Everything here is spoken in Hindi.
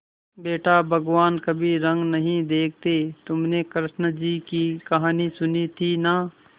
बेटा भगवान कभी रंग नहीं देखते हैं तुमने कृष्ण जी की कहानी सुनी थी ना